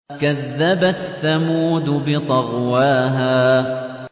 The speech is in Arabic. كَذَّبَتْ ثَمُودُ بِطَغْوَاهَا